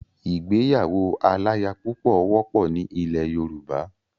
Ìgbéyàwó aláyapúpọ̀ wọ́pọ̀ ni ilẹ̀ Yorùbá.